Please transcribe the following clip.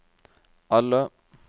alle